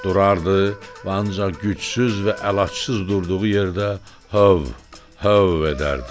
Durardı və ancaq gücsüz və əlacsız durduğu yerdə höv höv edərdi.